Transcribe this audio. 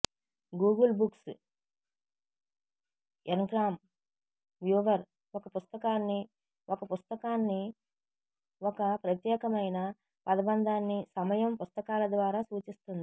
Google books ngram viewer ఒక పుస్తకాన్ని ఒక పుస్తకాన్ని ఒక ప్రత్యేకమైన పదబంధాన్ని సమయం పుస్తకాల ద్వారా సూచిస్తుంది